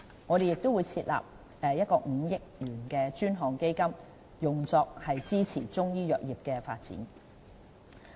我們亦會設立5億元專項基金，用作支持中醫藥業的發展。